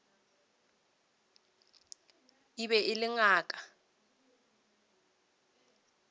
e be e le ngaka